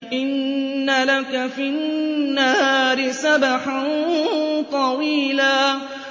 إِنَّ لَكَ فِي النَّهَارِ سَبْحًا طَوِيلًا